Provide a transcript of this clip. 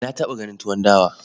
Na taɓa ganin tuwon dawa.